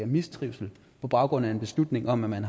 mistrivsel på baggrund af en beslutning om at